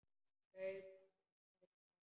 Laug bara upp á hann.